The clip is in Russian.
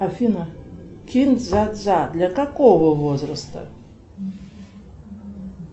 афина кин дза дза для какого возраста